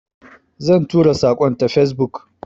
Zan tura saƙon ta Facebook.